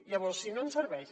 llavors si no ens serveix